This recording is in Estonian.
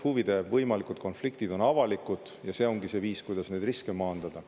Kõik need võimalikud huvide konfliktid on avalikud ja see ongi see viis, kuidas riske maandada.